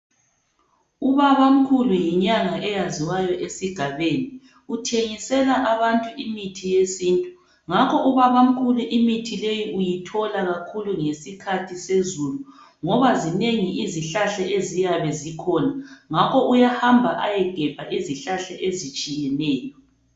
Ubabamkhulu yinyanga eyaziwayo esigabeni uthengisela abantu imithi yesintu ngakho ubabamkhulu imithi leyi uyithola kakhulu ngesikhathi sezulu ngoba zinengi izihlahla eziyabe zikhona ngakho uyahamba ayegebha izihlahla ezitshiyeneyo.